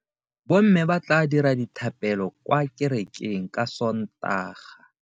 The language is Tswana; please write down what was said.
Bomme ba tla dira dithapelo kwa kerekeng ka Sontaga.